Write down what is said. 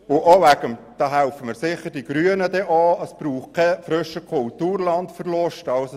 Es braucht keinen Verlust von Kulturland, was die Grünen sicher unterstützen.